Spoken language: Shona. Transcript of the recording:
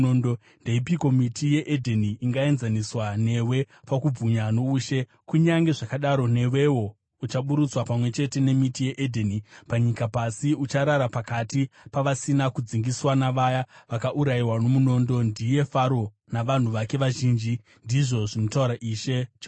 “ ‘Ndeipiko miti yeEdheni ingaenzaniswa newe pakubwinya noushe? Kunyange zvakadaro, newewo, uchaburutswa pamwe chete nemiti yeEdheni panyika pasi; ucharara pakati pavasina kudzingiswa, navaya vakaurayiwa nomunondo. “ ‘Ndiye Faro navanhu vake vazhinji, ndizvo zvinotaura Ishe Jehovha.’ ”